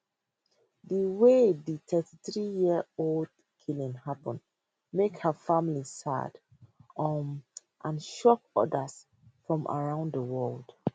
di way di 33yearold killing happun make her family sad um and shock odas from around di world